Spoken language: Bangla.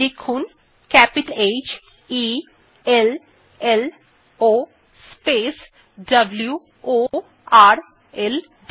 লিখুন h e l l O w o r l D